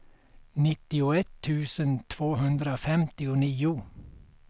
nittioett tusen tvåhundrafemtionio